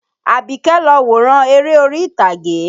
Àbíké lọ wòran eré orí ìtagé.